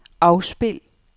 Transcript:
afspil